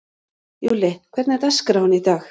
Júlli, hvernig er dagskráin í dag?